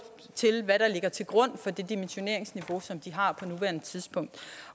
hvad der ligger til grund for det dimensioneringsniveau som de har på nuværende tidspunkt